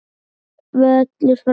Völlur frábær.